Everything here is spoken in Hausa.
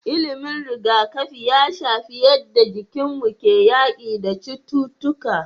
Ilimin riga kafi ya shafi yadda jikinmu ke yaki da cututtuƙa